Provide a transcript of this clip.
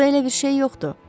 Burda elə bir şey yoxdur.